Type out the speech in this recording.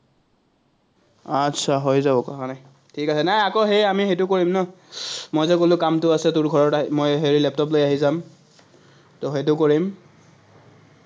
আটচা, হৈ যাব, কথা নাই। ঠিক আছে, নাই আমি আকৌ সেইটো কৰিম ন, মই যে কলো, কামটো আছে তোৰ মই লেপটপলৈ আহি যাম, সেইটো কৰিম,